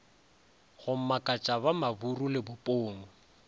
go makatša ba maburu lebopong